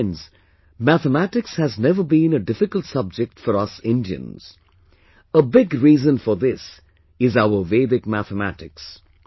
Friends, Mathematics has never been a difficult subject for us Indians, a big reason for this is our Vedic Mathematics